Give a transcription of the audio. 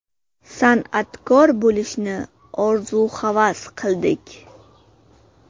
San’atkor bo‘lishni orzu-havas qildik.